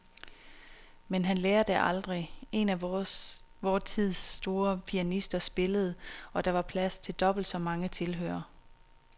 Men han lærer det aldrig. En af vor tids store pianister spillede, og der var plads til dobbelt så mange tilhørere.